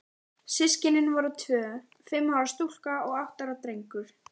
Systkinin voru tvö, fimm ára stúlka og átta ára drengur.